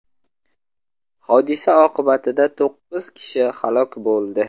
Hodisa oqibatida to‘qqiz kishi halok bo‘ldi.